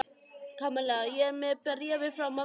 Kamilla, ég er með bréfið frá mömmu þinni.